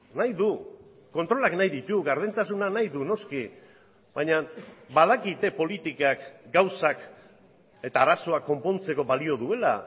nahi du kontrolak nahi ditu gardentasuna nahi du noski baina badakite politikak gauzak eta arazoak konpontzeko balio duela